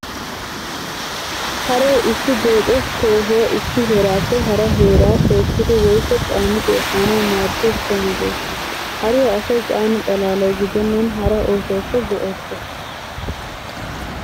Haree issi deexo tohuwaa issi heerappe hara heeraa tookkidi woykko caanidi efaanawu maadiyaa so meedoosa. Hariyaa asay caana xalaalawu gidennan hara oosuwawukka go'ettees.